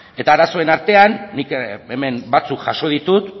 eta arazoen artean nik hemen batzuk jaso ditut